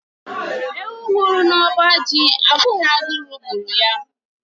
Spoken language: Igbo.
Ewu nwụrụ na ọba ji abụghị agụrụ gburu ya.